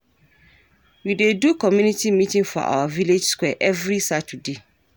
We dey do community meeting for our village square every Saturday.